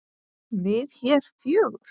Við hér fjögur?